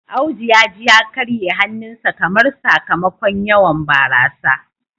Audu ya ji ya karye hannunsa kamar. sakamakon yawan barasa